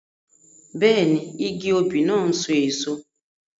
Bẹ́ẹ̀ni, igi òbí náà n so èso